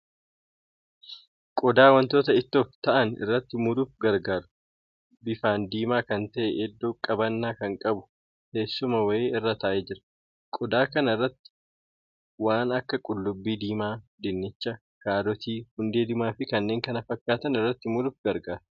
Qodaa wantoota ittoof ta'an irratti muruuf gargaaru, bifaan diimaa kan ta'e iddoo qabannaa kan qabu, teessuma wayii irra taa'ee jira. qodaa kana irratti waan akka qullubbii diimaa, dinnicha, kaarotii, hundee diimaa fi kanneen kana fakkaatan irratti muruuf gargaara.